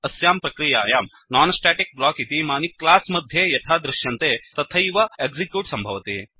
अस्यां प्रक्रियायां non static block इतीमानि च्लास् मध्ये यथा दृश्यन्ते तथैव एक्सिक्यूट् सम्भवति